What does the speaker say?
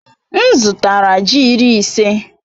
M zụtara ji iri ise.